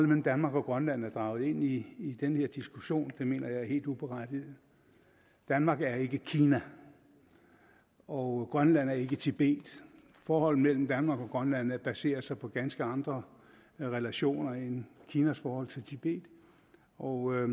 mellem danmark og grønland er draget ind i i den her diskussion det mener jeg er helt uberettiget danmark er ikke kina og grønland er ikke tibet forholdet mellem danmark og grønland baserer sig på ganske andre relationer end kinas forhold til tibet og jeg